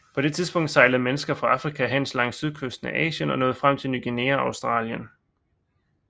På det tidspunkt sejlede mennesker fra Afrika hen langs sydkysten af Asien og nåede frem til Ny Guinea og Australien